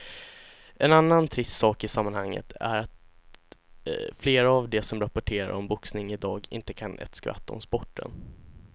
En annan trist sak i sammanhanget är att flera av de som rapporterar om boxning i dag inte kan ett skvatt om sporten.